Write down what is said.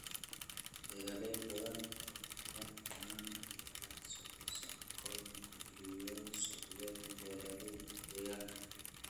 Beeraley badan oo madaxbannaan ayaa wax soo saarkooda ku iibiya suuqyada beeraleyda deegaanka.